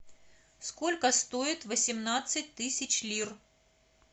сколько стоит восемнадцать тысяч лир